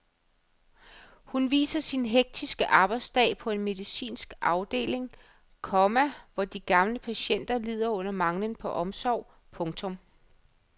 Hun viser sin hektiske arbejdsdag på en medicinsk afdeling, komma hvor de gamle patienter lider under manglen på omsorg. punktum